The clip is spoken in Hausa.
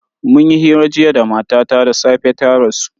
Mun yi hira jiya da matata da safe ta rasu.